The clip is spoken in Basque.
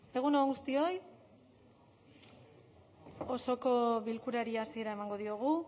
egun on guztioi osoko bilkurari hasiera emango diogu